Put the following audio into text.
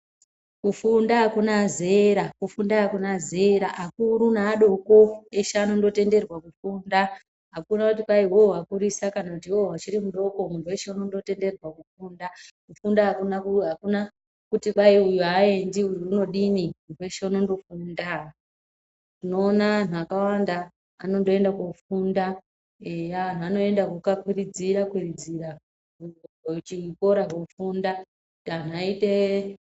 Kufunda hakuna zera, kufunda akuna zera, akuru neadoko eshe anondotenderwa kufunda, akuna kuti kwayi iwewe wakurisa, kana kuti iwewe uchiri mudoko, muntu weshe unondotenderwa kufunda, kufunda akuna kuti kwayi uyu ayendi, uyu unodini muntu weshe unondofunda, tinoona antu akawanda anondoenda kofunda, eya antu anoenda kokapuridzira-kurudzira kuchikora kofunda kuti antu ayiteee.